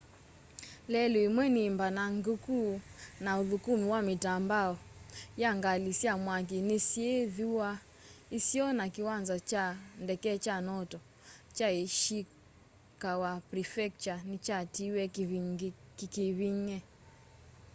lelũ ĩmwe nĩ mbanangĩkũ na ũthũkũmĩ wa mitambo ya ngalĩ sya mwakĩ nĩsyĩ thũa ĩsĩo na kĩwanza kya ndeke kya noto kya ĩshĩkawa prefectũre nĩkyatĩwee kĩkĩvĩng'e